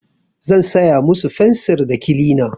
Zan saya musu fensir da kilina.